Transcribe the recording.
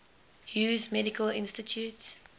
hughes medical institute